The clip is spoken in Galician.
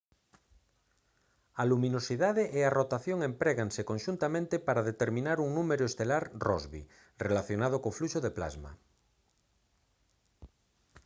a luminosidade e a rotación empréganse conxuntamente para determinar un número estelar rossby relacionado co fluxo de plasma